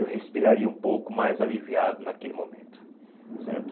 Eu respiraria um pouco mais aliviado naquele momento, certo?